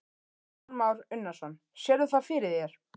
Kristján Már Unnarsson: Sérðu það fyrir þér?